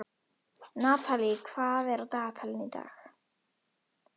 Natalí, hvað er á dagatalinu í dag?